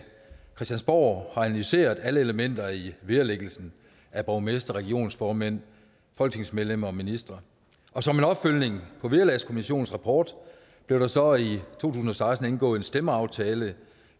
christiansborg har analyseret alle elementer i vederlæggelsen af borgmestre regionsformænd folketingsmedlemmer og ministre og som en opfølgning på vederlagskommissionens rapport blev der så i to tusind og seksten indgået en stemmeaftale